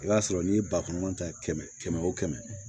I b'a sɔrɔ n'i ye bakuruba ta kɛmɛ kɛmɛ wo kɛmɛ